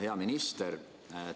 Hea minister!